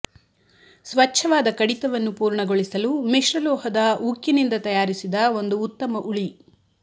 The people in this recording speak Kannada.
ಸ್ವಚ್ಛವಾದ ಕಡಿತವನ್ನು ಪೂರ್ಣಗೊಳಿಸಲು ಮಿಶ್ರಲೋಹದ ಉಕ್ಕಿನಿಂದ ತಯಾರಿಸಿದ ಒಂದು ಉತ್ತಮ ಉಳಿ